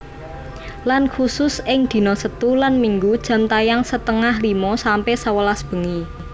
Lan khusus ing dina setu lan Minggu jam tayang setengah limo sampe sewelas bengi